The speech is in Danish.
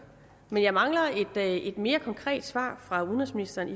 men jeg mangler et mere konkret svar fra udenrigsministeren